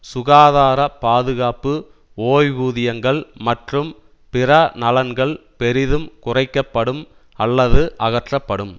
சுகாதார பாதுகாப்பு ஓய்வூதியங்கள் மற்றும் பிற நலன்கள் பெரிதும் குறைக்க படும் அல்லது அகற்றப்படும்